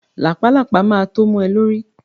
Làpálàpá ma tó mu ẹ lórí